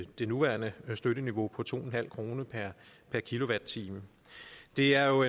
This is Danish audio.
det nuværende støtteniveau på to kroner per kilowatt time det er jo